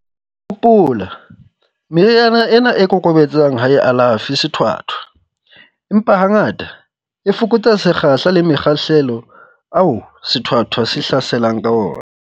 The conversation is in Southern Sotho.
Hopola, meriana ena e kokobetsang ha e alafe sethwathwa, empa hangata, e fokotsa sekgahla le makgetlo ao sethwathwa se hlaselang ka ona.